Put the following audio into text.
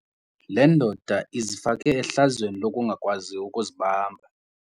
Le ndoda izifake ehlazweni lokungakwazi ukuzibamba.